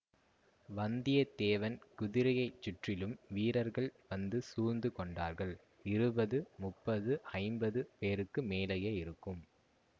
வந்தியத்தேவன் குதிரையை சுற்றிலும் வீரர்கள் வந்து சூழ்ந்து கொண்டார்கள் இருபது முப்பது ஐம்பது பேருக்கு மேலேயே இருக்கும்